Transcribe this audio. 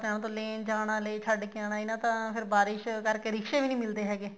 ਤੋਂ ਲੈਣ ਜਾਣਾ ਛੱਡ ਕੇ ਆਉਣਾ ਇੰਨਾ ਤਾਂ ਬਾਰਿਸ਼ ਕਰਕੇ ਫੇਰ ਰਿਕਸ਼ੇ ਵੀ ਨੀ ਮਿਲਦੇ ਹੈਗੇ